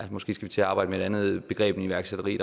måske til at arbejde med et andet begreb end iværksætteri